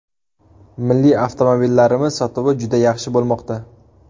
Milliy avtomobillarimiz sotuvi juda yaxshi bo‘lmoqda.